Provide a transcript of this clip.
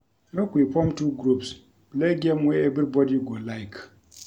Make we form two groups play game wey everybody go like